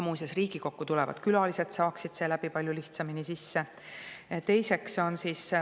Muuseas, ka Riigikokku tulevad külalised saaksid seeläbi palju lihtsamini sisse.